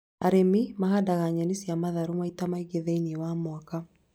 Arĩmi mahandaga nyeni cia matharũ maita maingĩ thĩiniĩ wa mũaka